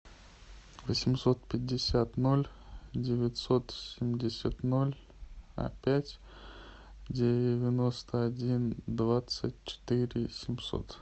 восемьсот пятьдесят ноль девятьсот семьдесят ноль пять девяносто один двадцать четыре семьсот